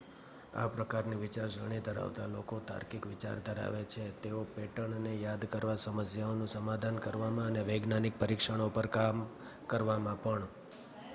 આ પ્રકારની વિચારસરણી ધરાવતા લોકો તાર્કિક વિચાર ધરાવે છે તેઓ પેટર્નને યાદ કરવા સમસ્યાઓનું સમાધાન કરવામાં અને વૈજ્ઞાનિક પરીક્ષણો પર કામ કરવામાં પણ